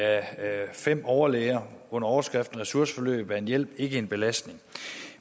af fem overlæger under overskriften resurseforløb er en hjælp ikke en belastning